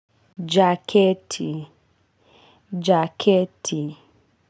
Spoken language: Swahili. Jaketi jaketi.